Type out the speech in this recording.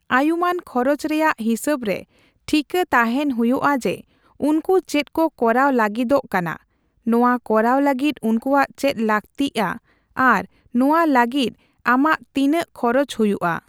ᱟᱭᱩᱢᱟᱹᱱ ᱠᱷᱚᱨᱚᱪ ᱨᱮᱭᱟᱜ ᱦᱤᱥᱟᱹᱵᱨᱮ ᱴᱷᱤᱠᱟᱹ ᱛᱟᱦᱮᱸᱱ ᱦᱩᱭᱩᱜᱼᱟ ᱡᱮ ᱩᱱᱠᱩ ᱪᱮᱫ ᱠᱚ ᱠᱚᱨᱟᱣ ᱞᱟᱹᱜᱤᱫᱚᱜ ᱠᱟᱱᱟ, ᱱᱚᱣᱟ ᱠᱚᱨᱟᱣ ᱞᱟᱹᱜᱤᱫ ᱩᱱᱠᱩᱭᱟᱜ ᱪᱮᱫ ᱞᱟᱹᱠᱛᱤᱜᱼᱟ ᱟᱨ ᱱᱚᱣᱟ ᱞᱟᱹᱜᱤᱫ ᱟᱢᱟᱜ ᱛᱤᱱᱟᱹᱜ ᱠᱷᱚᱨᱚᱪ ᱦᱩᱭᱩᱜᱼᱟ ᱾